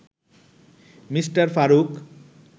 Me. Faruk